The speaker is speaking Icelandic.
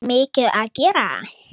Mikið að gera?